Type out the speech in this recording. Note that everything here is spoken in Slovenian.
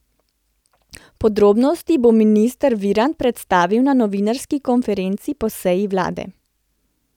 Podrobnosti bo minister Virant predstavil na novinarski konferenci po seji vlade.